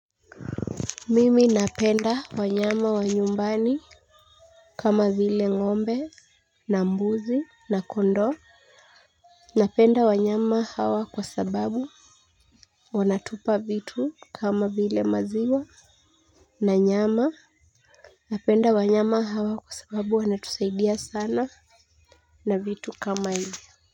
Mimi napenda wanyama wa nyumbani. Kama vile ngombe na mbuzi na kondoo napenda wanyama hawa kwa sababu wanatupa vitu kama vile maziwa. Na nyama napenda wanyama hawa kwa sababu wanatusaidia sana. Na vitu kama hivyo.